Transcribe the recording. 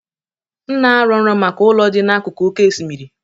M na-arọ nrọ maka ụlọ dị n'akụkụ oké osimiri.